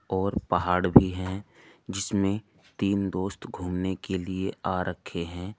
और पहाड़ भी हैं जिसमें तीन दोस्त घूमने के लिए आ रखे हैं।